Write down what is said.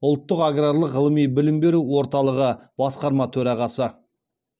ұлттық аграрлық ғылыми білім беру орталығы басқарма төрағасы